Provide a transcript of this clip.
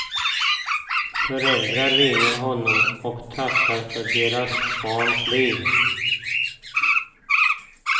Föräldrar ringer honom och tackar för deras barns liv.